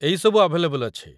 ଏଇ ସବୁ ଆଭେଲେବଲ୍ ଅଛି ।